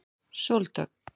Sóldögg